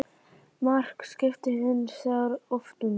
Mark skipti hins vegar oft um vinnu.